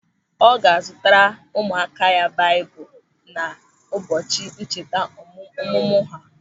Ọ ga-azutara ụmụaka ya baịbụl n'ụbọchị ncheta ọmụmụ ha.